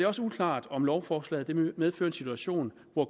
også uklart om lovforslaget medfører en situation hvor